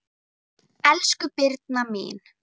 Elsku Birna mín.